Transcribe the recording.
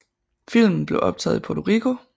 Filmen blev optaget i Puerto Rico